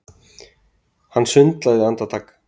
Hann sundlaði andartak.